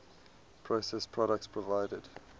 processed products provided